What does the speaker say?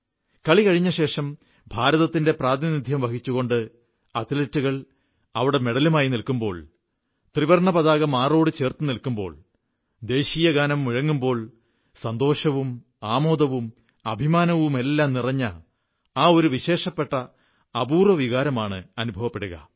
കളി കഴിഞ്ഞശേഷം ഭാരതത്തിന്റെ പ്രാതിനിധ്യം വഹിച്ചുകൊണ്ട് അത്ലറ്റുകൾ അവിടെ മെഡലുമായി നില്ക്കുമ്പോൾ ത്രിവർണ്ണപതാക മാറോടു ചേർത്തു നില്ക്കുമ്പോൾ ദേശീയഗാനം മുഴങ്ങുമ്പോൾ സന്തോഷവും ആമോദവും അഭിമാനവുമെല്ലാം നിറഞ്ഞ ഒരു വിശേഷപ്പെട്ട അപൂർവ്വ വികാരമാണ് അനുഭവപ്പെടുക